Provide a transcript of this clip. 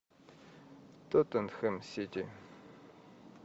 тоттенхэм сити